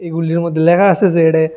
এগুলির মধ্যে লেখা আছে যে ডে--